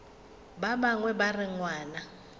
ba bangwe ba re ngwana